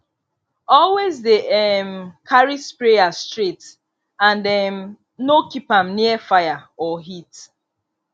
always dey um carry sprayer straight and um no keep am near fire or heat